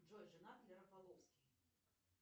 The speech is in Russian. джой женат ли рафаловский